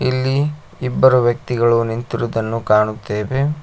ಇಲ್ಲಿ ಇಬ್ಬರು ವ್ಯಕ್ತಿಗಳು ನಿಂತಿರುವುದನ್ನು ಕಾಣುತ್ತೇವೆ.